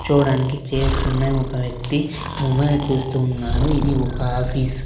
కుచ్చోవడానికి చైర్సుసున్నాయి ఒక వ్యక్తి మొబైల్ చూస్తూ ఉన్నాడు ఇది ఒక ఆఫీస్ .